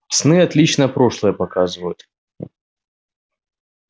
сны отлично прошлое показывают